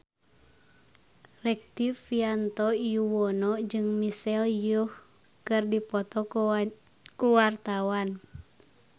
Rektivianto Yoewono jeung Michelle Yeoh keur dipoto ku wartawan